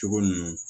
Cogo ninnu